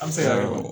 An bɛ se ka